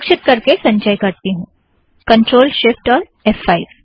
सुरक्षित करके संचय करती हूँ ctrl shift और फ़5